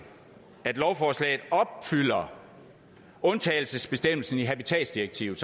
at lovforslaget opfylder undtagelsesbestemmelsen i habitatsdirektivet